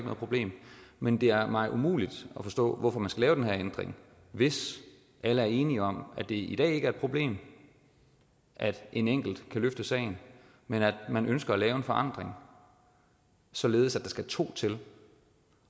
problem men det er mig umuligt at forstå hvorfor man skal lave den her ændring hvis alle er enige om at det i dag ikke er et problem at en enkelt kan løfte sagen men at man ønsker at lave en forandring således at der skal to til